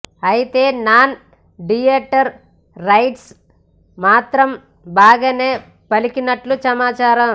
అయితే non theatre rights మాత్రం బాగానే పలికినట్లు సమాచారం